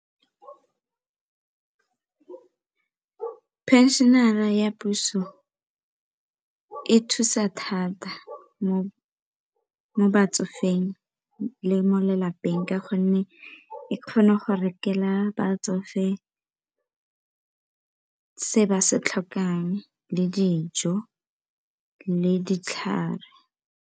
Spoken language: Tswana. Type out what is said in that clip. Pension re ra ya puso e thusa thata mo batsofeng le mo lelapeng ka gonne e kgone go rekela batsofe se ba se tlhokang le dijo le ditlhare.